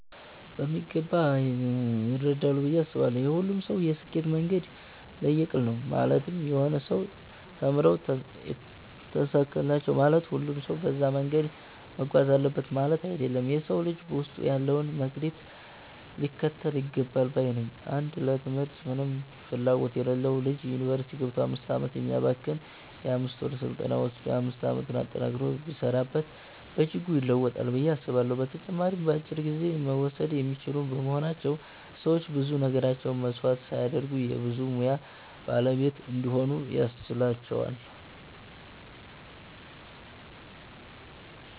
በሚገባ ይረዳሉ ብዬ አስባለው። የሁሉም ሰው የስኬት መንገድ ለየቅል ነው ማለትም የሆኑ ሰዎች ተምረው ተሳካላቸው ማለት ሁሉም ሰው በዛ መንገድ መጓዝ አለበት ማለት አይደለም። የ ሰው ልጅ ውስጡ ያለውን መክሊት ሊከተል ይገባል ባይ ነኝ። አንድ ለ ትምህርት ምንም ፍላጎት የሌለው ልጅ ዩኒቨርስቲ ገብቶ 5 አመታትን ከሚያባክን የ 5ወር ስልጠና ወሰዶ 5 አመቱን ጠንክሮ ቢሰራበት በእጅጉ ይለወጣል ብዬ አስባለሁ። በተጨማሪም በአጭር ጊዜ መወሰድ የሚችሉ በመሆናቸው ሰዎች ብዙ ነገራቸውን መስዋዕት ሳያደርጉ የ ብዙ ሙያ ባለቤት እንዲሆኑ ያስችላቸዋል።